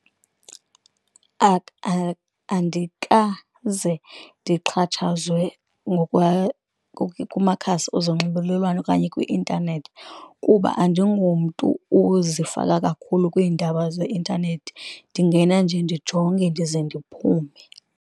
Andikaze ndixhatshazwe kumakhasi ezonxibelelwano okanye kwi-intanethi kuba andingomntu uzifaka kakhulu kwiindaba zeintanethi, ndingena nje ndijonge ndize ndiphume.